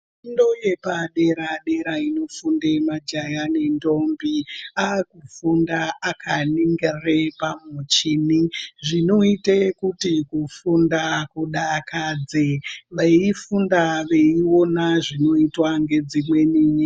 Fundo yepadera dera inofunde majaya nentombi aakufunda akaningire pamuchini zvinoite kuti kufunda kudakadze veifunde veiona zvinoitwa ngedzimweni nyika .